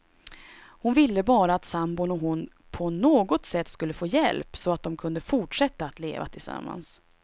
Hon ville bara att sambon och hon på något sätt skulle få hjälp, så att de kunde fortsätta att leva tillsammans.